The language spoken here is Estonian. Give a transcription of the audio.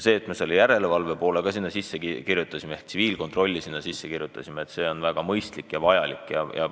See, et me järelevalve ehk tsiviilkontrolli ka eelnõusse kirjutasime, oli väga mõistlik ja vajalik.